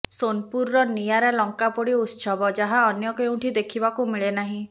ସୋନପୁରର ନିଆରା ଲଙ୍କାପୋଡି ଉତ୍ସବ ଯାହା ଅନ୍ୟ କେଉଁଠି ଦେଖିବାକୁ ମିଳେନାହିଁ